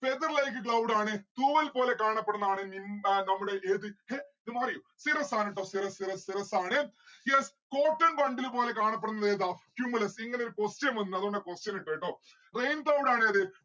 feather like cloud ആണ്. തൂവൽപോലെ കാണപ്പെടുന്ന ആണ് nim ആ നമ്മുടെ ഏത് ഹേഹ് ഇത് മാറിയോ cirrus ആണുട്ടോ cirrus cirrus cirrus ആണ്. yes. cotton bundle പോലെ കാണപ്പെടുന്നത് ഏതാ cumulus ഇങ്ങനൊരു question വന്നു അതുകൊണ്ടാ question ഇട്ടേ ട്ടോ rain cloud ആണ് ഏത്